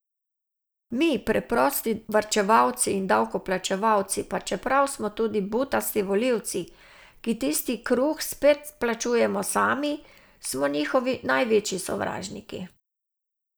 Mi, preprosti varčevalci in davkoplačevalci, pa čeprav smo tudi butasti volivci, ki tisti kruh spet plačujemo sami, smo njihovi največji sovražniki.